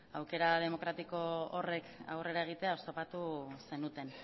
aukera demokratiko horrek aurrera egitea oztopatu zenuten